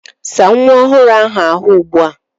Saa nwa ọhụrụ ahụ́ ahụ̀ ugbu a!